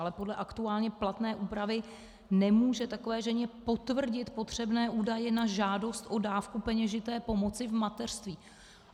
Ale podle aktuálně platné úpravy nemůže takové ženě potvrdit potřebné údaje na žádost o dávku peněžité pomoci v mateřství.